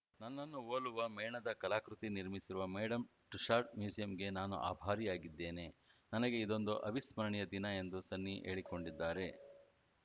ನನ್ನನ್ನು ಹೋಲುವ ಮೇಣದ ಕಲಾಕೃತಿ ನಿರ್ಮಿಸಿರುವ ಮೇಡಂ ಟುಸ್ಸಾಡ್ಸ್‌ ಮ್ಯೂಸಿಯಂಗೆ ನಾನು ಅಭಾರಿಯಾಗಿದ್ದೇನೆ ನನಗೆ ಇದೊಂದು ಅವಿಸ್ಮರಣೀಯ ದಿನ ಎಂದು ಸನ್ನಿ ಹೇಳಿಕೊಂಡಿದ್ದಾರೆ